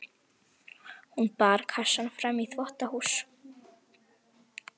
Hún bar kassann fram í þvottahús.